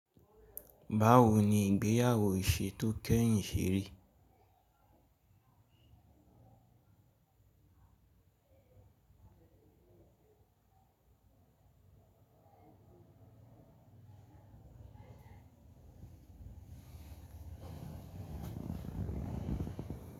Báwo ni ìgbéyàwó ìṣe tó kẹ́yìn ṣe rí?